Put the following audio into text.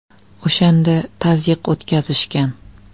O‘shanda tazyiq o‘tkazishgan.